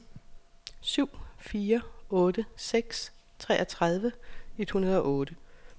syv fire otte seks treogtredive et hundrede og otte